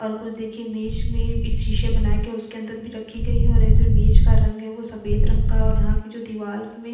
और कुछ देखिये मेज़ शीशे बनाई गई है उसके अंदर भी रखी गयी है और ये जो मेज़ का रंग हैं वो सफ़ेद रंग का है और यहाँ की जो दीवाल मे। --